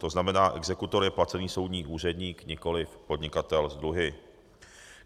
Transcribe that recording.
To znamená, exekutor je placený soudní úředník, nikoliv podnikatel s dluhy.